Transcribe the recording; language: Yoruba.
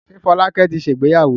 Ṣé Fọlákẹ́ ti ṣe ìgbéyàwó?